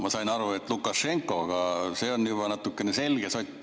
Ma sain aru, et Lukašenkost, see on nagu selge sott.